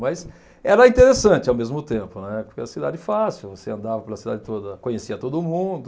Mas era interessante ao mesmo tempo, né, porque a cidade fácil, você andava pela cidade toda, conhecia todo mundo.